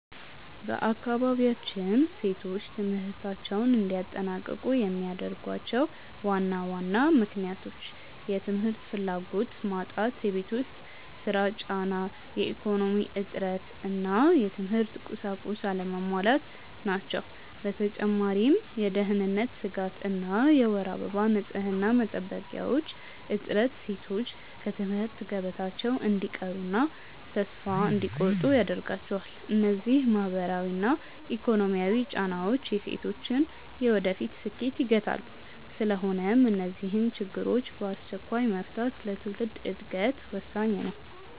በአካባቢያችን ሴቶች ትምህርታቸውን እንዳያጠናቅቁ የሚያደርጓቸው ዋና ዋና ምክንያቶች፦ የ ትምህርት ፍላጎት መጣት የቤት ውስጥ ሥራ ጫና፣ የኢኮኖሚ እጥረት እና የትምህርት ቁሳቁስ አለመሟላት ናቸው። በተጨማሪም የደህንነት ስጋት እና የወር አበባ ንፅህና መጠበቂያዎች እጥረት ሴቶች ከትምህርት ገበታቸው እንዲቀሩና ተስፋ እንዲቆርጡ ያደርጋቸዋል። እነዚህ ማህበራዊና ኢኮኖሚያዊ ጫናዎች የሴቶችን የወደፊት ስኬት ይገታሉ። ስለሆነም እነዚህን ችግሮች በአስቸኳይ መፍታት ለትውልድ ዕድገት ወሳኝ ነው።